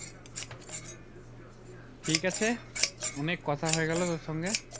ঠিক আছে অনেক কথা হয়ে গেলো তোর সঙ্গে